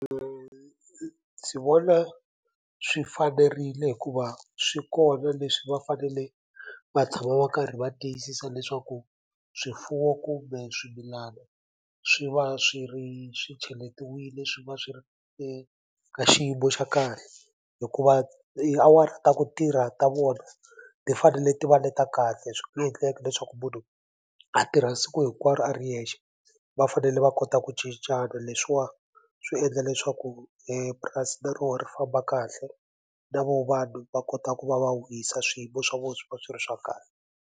ndzi vona swi fanerile hikuva swi kona leswi va fanele va tshama va karhi va tiyisisa leswaku swifuwo kumbe swimilana swi va swi ri swi cheletiwile swi va swi ri eka xiyimo xa kahle hikuva tiawara ta ku tirha ta vona ti fanele ti va ni le ta kahle swi nge endleki leswaku munhu a tirha siku hinkwaro a ri yexe va fanele va kota ku cincana leswiwa swi endla leswaku purasi na rona ri famba kahle na vo vanhu va kota ku va va wisa swiyimo swa vona swi va swi ri swa .